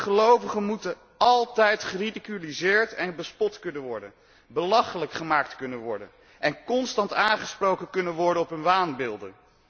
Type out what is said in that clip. Gelovigen moeten altijd geridiculiseerd en bespot kunnen worden, belachelijk gemaakt kunnen worden en constant aangesproken kunnen worden op hun waanbeelden.